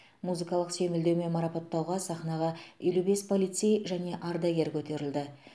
музыкалық сүйемелдеумен марапаттауға сахнаға елу бес полицей және ардагер көтерілді